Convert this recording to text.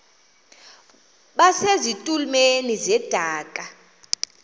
base zitulmeni zedaka